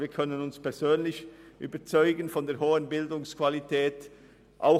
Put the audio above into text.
Wir können uns persönlich von der hohen Bildungsqualität überzeugen.